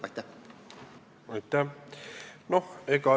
Aitäh!